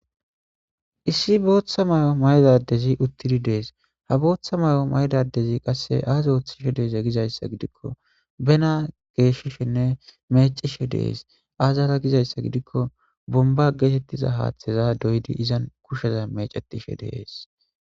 Issi booththa may'o maydadezi uttidi dees ha booththa may'o maydadezi qasse aaza ooththishe deeze gizayssa gidikko bena geeshishenne mecishe dees aazara gizayssa gidikko bomba geetettiza haaththeza doydi izan kusheza mecetishe dees